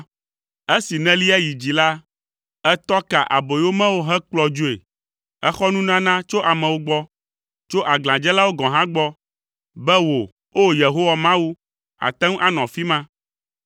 Esi nèlia yi dzi la, ètɔ ka aboyomewo hekplɔ dzoe, èxɔ nunana tso amewo gbɔ, tso aglãdzelawo gɔ̃ hã gbɔ, be wò, O! Yehowa Mawu, àte ŋu anɔ afi ma.